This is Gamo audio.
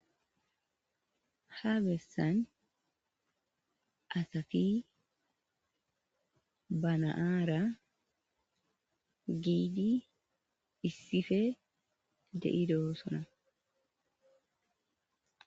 Ha bessan asafi banaaara giidi issife de,idoosona.